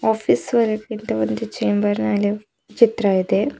Office ಒಳಗಿದ್ದ ಒಂದು chamber ಚಿತ್ರವಿದೆ.